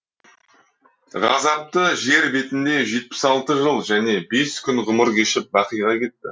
ғазапты жер бетінде жетпіс алты жыл және бес күн ғұмыр кешіп бақиға кетті